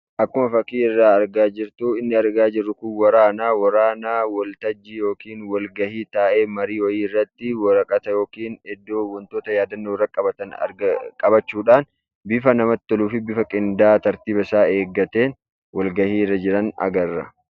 Akkuma fakkiirraa argaa jirtu, inni argaa jirru kun waraanaa. Waraana waltajjii yookiin walgahii taa'ee marii wayii irratti waraqata irratti yookiin iddoo wantoota yaadannoo irratti qabatan, qabachuudhaan bifa namatti toluufi bifa qindaa'aa tartiiba isaa eeggateen walgahiirra jiran agarra.